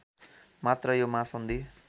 मात्र यो महासन्धि